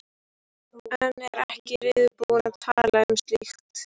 En er ekki reiðubúin að tala um slíkt.